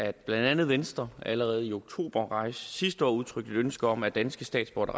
at blandt andet venstre allerede i oktober sidste år udtrykte et ønske om at danske statsborgere